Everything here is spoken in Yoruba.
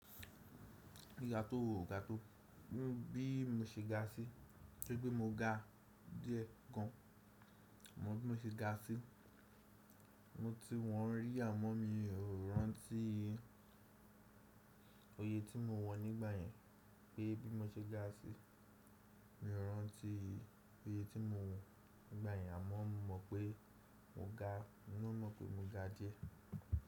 Gíga tó ò ga tó, bí mo ṣe ga sí, toripe mo ga díẹ̀ gan, mo bí mo ṣe ga sí, mo ti wọn rí àmọ́ mi ò rántí oyè tí mo wọ̀n nígbà yẹn pé bí mo ṣe ga sí, mi ò rántí oyè tí mo wọ̀n nígbà yẹn àmọ́ mo mọ̀ pé mo ga, n ná mọ̀ pé mo ga díẹ̀.